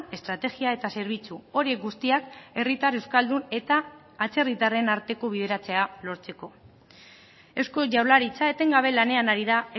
estrategia eta zerbitzu horiek guztiak herritar euskaldun eta atzerritarren arteko bideratzea lortzeko eusko jaurlaritza etengabe lanean ari da